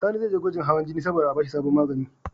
Sani ze je gwajin hawan jini sabo da a bashi sabon magani